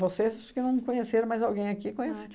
Vocês acho que não conheceram mais alguém aqui conhece